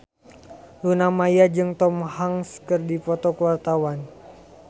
Luna Maya jeung Tom Hanks keur dipoto ku wartawan